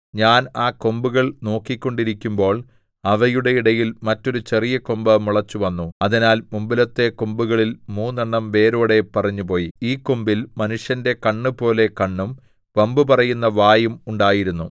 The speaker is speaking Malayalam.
ഞാൻ ആ കൊമ്പുകൾ നോക്കിക്കൊണ്ടിരിക്കുമ്പോൾ അവയുടെ ഇടയിൽ മറ്റൊരു ചെറിയ കൊമ്പ് മുളച്ചുവന്നു അതിനാൽ മുമ്പിലത്തെ കൊമ്പുകളിൽ മൂന്നെണ്ണം വേരോടെ പറിഞ്ഞുപോയി ഈ കൊമ്പിൽ മനുഷ്യന്റെ കണ്ണുപോലെ കണ്ണും വമ്പു പറയുന്ന വായും ഉണ്ടായിരുന്നു